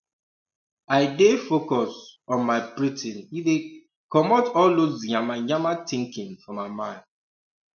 i dey focus um on my breathing e dey um comot all dos yamamaya thinking for my mind